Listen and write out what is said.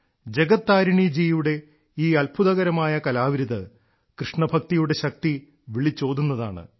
ജഗത് താരിണി ജിയുടെ ഈ അത്ഭുതകരമായ കലാവിരുത് കൃഷ്ണഭക്തിയുടെ ശക്തി വിളിച്ചോതുന്നതാണ്